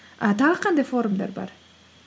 і тағы қандай форумдар бар